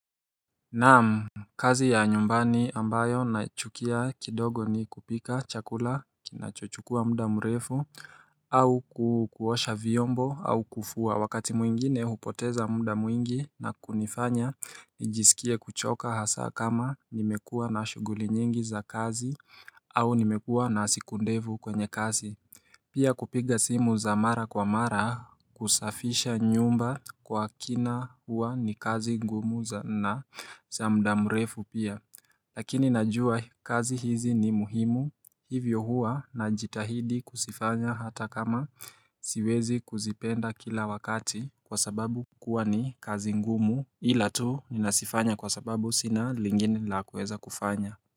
Naam kazi ya nyumbani ambayo na chukia kidogo ni kupika chakula kinachochukua mda mrefu au kukuosha vyombo au kufua wakati mwingine hupoteza mda mwingi na kunifanya nijisikie kuchoka hasa kama nimekuwa na shuguli nyingi za kazi au nimekuwa na siku ndevu kwenye kazi Pia kupiga simu za mara kwa mara kusafisha nyumba Kwa kina huwa ni kazi ngumu za na za mda mrefu pia Lakini najua kazi hizi ni muhimu Hivyo huwa na jitahidi kuzifanya hata kama siwezi kuzipenda kila wakati Kwa sababu kuwa ni kazi ngumu Hila tu ni nasifanya kwa sababu sina lingini la kueza kufanya.